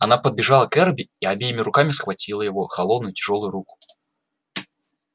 она подбежала к эрби и обеими руками схватила его холодную тяжёлую руку